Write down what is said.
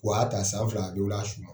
W'a y'a ta san fila